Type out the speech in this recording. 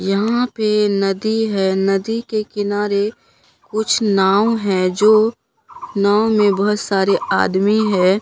यहाँ पे नदी है नदी के किनारे कुछ नाव है जो नाव में बहोत सारे आदमी है।